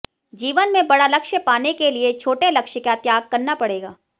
जीवन में बड़ा लक्ष्य पाने के लिये छोटे लक्ष्य का त्याग करना पड़ेगा